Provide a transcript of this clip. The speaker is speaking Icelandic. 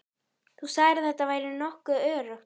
Þú sagðir að þetta ætti að vera nokkuð öruggt.